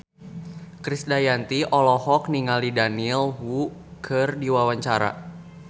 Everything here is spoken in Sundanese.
Krisdayanti olohok ningali Daniel Wu keur diwawancara